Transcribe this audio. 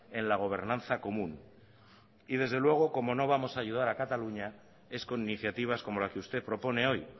en la gobernanza común y desde luego como no vamos a ayudar a cataluña es con iniciativas como la que usted propone hoy